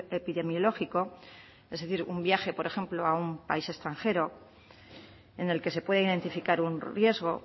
epidemiológico es decir un viaje por ejemplo a un país extranjero en el que se puede identificar un riesgo